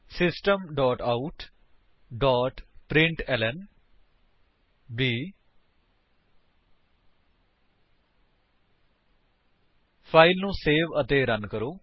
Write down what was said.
system dot out dot println 160 file ਨੂੰ save ਅਤੇ run ਕਰੋ